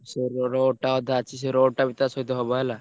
ସେ ରୋ~ road ଟା ଅଧା ଅଛି ସେ road ଟା ବି ତା ସହିତ ହବ ହେଲା।